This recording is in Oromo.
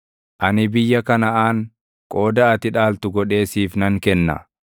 “Ani biyya Kanaʼaan qooda ati dhaaltu godhee siif nan kenna.”